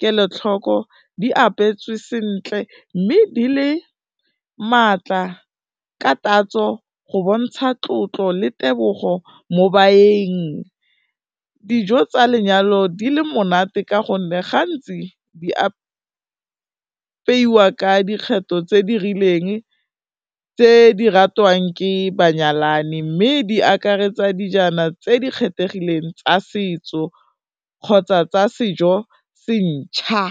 kelotlhoko, di apetswe sentle, mme di le maatla ka tatso go bontsha tlotlo le tebogo mo baeng, dijo tsa lenyalo di le monate ka gonne gantsi di apaiwa ka dikgetho tse di rileng tse di ratwang ke banyalani, mme di akaretsa dijana tse di kgethegileng tsa setso kgotsa tsa sejo se ntjha.